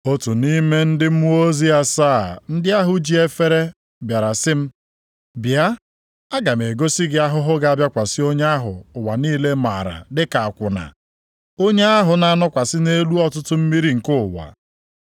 Otu nʼime ndị mmụọ ozi asaa ndị ahụ ji efere bịara sị m, “Bịa, aga m egosi gị ahụhụ ga-abịakwasị onye ahụ ụwa niile maara dịka akwụna, onye ahụ na-anọkwasị nʼelu ọtụtụ mmiri nke ụwa.